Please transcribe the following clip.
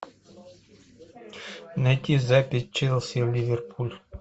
найти запись челси ливерпуль